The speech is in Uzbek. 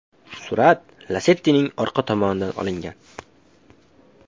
Surat Lacetti’ning orqa tomonidan olingan.